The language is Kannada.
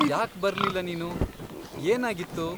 ಯಾಕ್ ಬರ್ಲಿಲ್ಲ ನೀನು? ಏನಾಗಿತ್ತು?